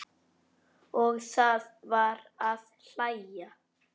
Og það var að hlæja.